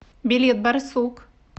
билет барсук